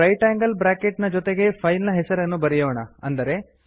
ಈಗ right angle bracket ನ ಜೊತೆಗೆ ಫೈಲ್ ನ ಹೆಸರನ್ನು ಬರೆಯೋಣ